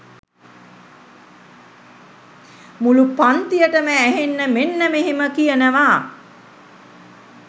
මුලු පන්තියටම ඇහෙන්න මෙන්න මෙහෙම කියනවා